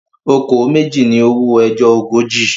"Okòó méjì" ni owó ẹjọ́ ogójì.